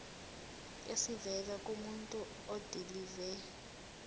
esivela kumuntu odilive